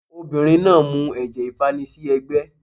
Obìnrin náà mu ẹ̀jẹ̀ ìfanisí ẹ́gbẹ́